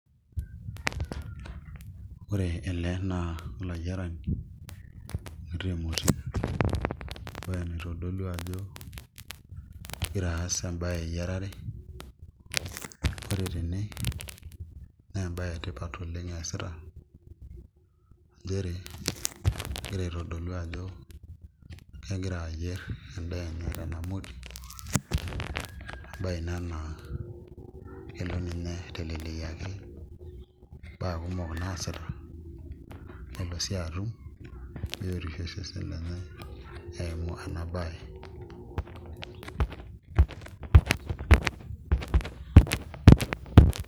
Ore ele naa olayiarani oyiarita emoti, embaye naitodolu ajo igira aas embaye eyiarare ore tene naa embaye etipat eesita nchere egira aitodolu ajo kegira aayierr endaa enye tena moti embaye ina naa kelo ninye aiteleliaki imbaa kumok naasita nelo sii atum biotisho osesen lenye eimu ena baye.